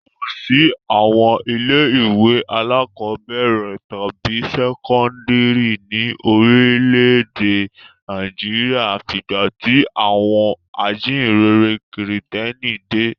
Kò sí àwọn ilé-ìwé alákọ̀ọ́bẹ̀rẹ̀ tàbí sẹ́kọ́ndárì ní orílẹ̀-èdè Nàìjíríà àfìgbà tí àwọn ajíǹrere Kìrìtẹ́ẹ́nì dé.